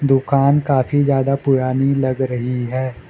दुकान काफी ज्यादा पुरानी लग रही है।